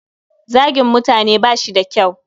Zagin mutane bashi da kyau.